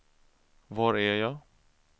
var är jag